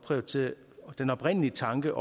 den oprindelige tanke